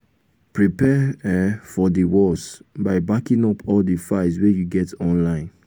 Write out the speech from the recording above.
prepare um for di worse by backing up all di files wey you get online